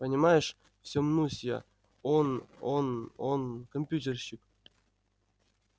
понимаешь всё мнусь я он он он компьютерщик